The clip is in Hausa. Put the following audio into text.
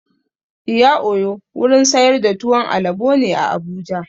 Iya oyo wurin sayar da tuwon alabo ne a Abuja.